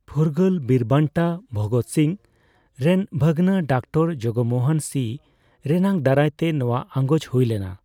ᱯᱷᱩᱨᱜᱟᱞ ᱵᱤᱨᱵᱟᱱᱴᱟ ᱵᱷᱚᱜᱚᱛ ᱥᱤᱝ ᱨᱮᱱ ᱵᱷᱟᱹᱜᱱᱟᱹ ᱰᱚᱠᱴᱚᱨ ᱡᱚᱜᱢᱚᱦᱚᱱ ᱥᱤ ᱨᱮᱱᱟᱜ ᱫᱟᱨᱟᱭ ᱛᱮ ᱱᱚᱣᱟ ᱟᱸᱜᱚᱪ ᱦᱩᱭ ᱞᱮᱱᱟ ᱾